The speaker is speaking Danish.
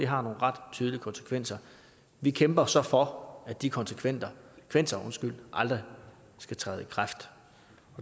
har nogle ret tydelige konsekvenser vi kæmper så for at de konsekvenser aldrig vil træde i kraft